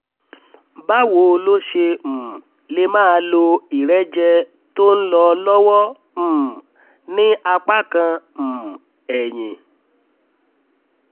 báwo lo ṣe um lè máa lo ìrẹ́jẹ tó ń lọ lọ́wọ́ um ní apá kan um ẹyin?